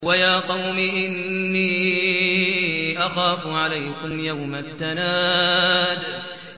وَيَا قَوْمِ إِنِّي أَخَافُ عَلَيْكُمْ يَوْمَ التَّنَادِ